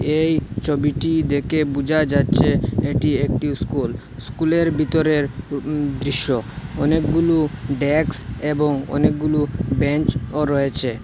এই ছবিটি দেখে বুঝা যাচ্ছে এটি একটি স্কুল স্কুলের ভিতরের উ দৃশ্য অনেকগুলু ডেস্ক এবং অনেকগুলু বেঞ্চও রয়েছে।